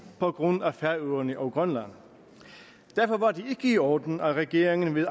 på grund af færøerne og grønland derfor var det i orden at regeringen ved